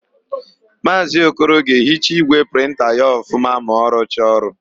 Maazị Okoro ga-ehicha ígwè prịnta ya ọfụma ma ọ rụcha ọrụ.